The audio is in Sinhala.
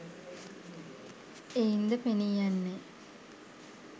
එයින්ද පෙනීයන්නේ